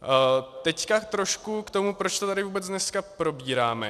Teď trošku k tomu, proč to tady vůbec dneska probíráme.